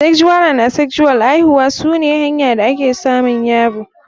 Sexual and Asexual aihuwa sune hanya da ake samun yaro.